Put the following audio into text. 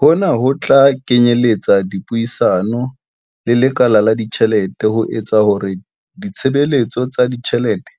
Hona ho tla kenyeletsa dipuisano le lekala la ditjhelete ho etsa hore ditshebeletso tsa ditjhelete